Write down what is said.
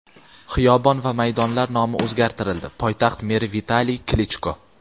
xiyobon va maydonlar nomi o‘zgartirildi – poytaxt meri Vitaliy Klichko.